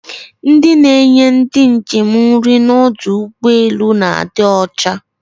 Ndị na-enye ndị njem nri n'ọdụ ụgbọelu na-adị ọcha